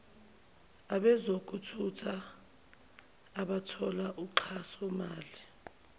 abezokuthutha abathola uxhasomali